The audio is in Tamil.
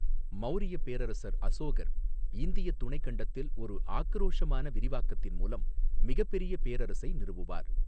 மௌரியப் பேரரசர் அசோகர் இந்தியத் துணைக் கண்டத்தில் ஒரு ஆக்கிரோஷமான விரிவாக்கத்தின் மூலம் மிகப் பெரிய பேரரசை நிறுவுவார்.